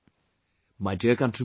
My dear countrymen,